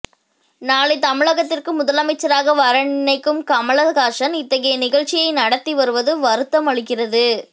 நாளை தமிழகத்திற்கு முதலமைச்சராக வர நினைக்கும் கமல்ஹாசன் இத்தகைய நிகழ்ச்சியை நடத்தி வருவது வருத்தம் அளிக்கிறது